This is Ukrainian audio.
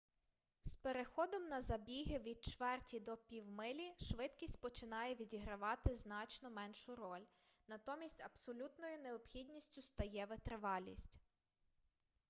з переходом на забіги від чверті до півмилі швидкість починає відігравати значно меншу роль натомість абсолютною необхідністю стає витривалість